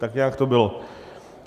Tak nějak to bylo.